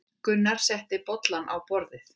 Gunnar setti bollana á borðið.